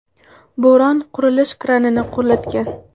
Bo‘ron qurilish kranini qulatgan .